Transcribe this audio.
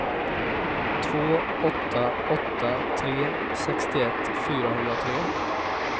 två åtta åtta tre sextioett fyrahundratre